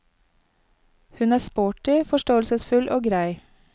Hun er sporty, forståelsesfull og grei.